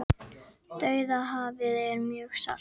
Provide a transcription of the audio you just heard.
Dauðahafið er mjög salt!